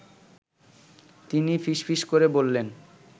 তিনি ফিসফিস করে বললেন